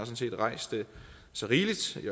set har rejst så rigeligt i